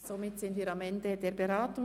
Somit sind wir am Ende der Beratung.